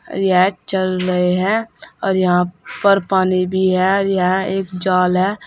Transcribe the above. चल रहे है और यहां पर पानी भी है यहां एक जाल है।